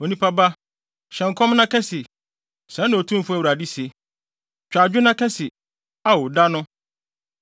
“Onipa ba, hyɛ nkɔm na ka se: ‘Sɛɛ na Otumfo Awurade se: “ ‘Twa adwo na ka se, “Ao da no!”